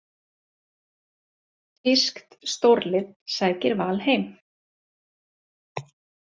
Þýskt stórlið sækir Val heim